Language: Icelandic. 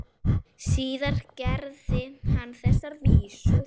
Síðar gerði hann þessar vísur: